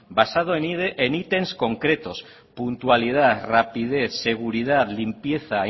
basado en ítems concretos puntualidad rapidez seguridad limpieza